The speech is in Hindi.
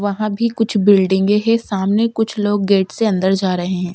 वहां भी कुछ बिल्डिंगें हैं सामने कुछ लोग गेट से अंदर जा रहे हैं ।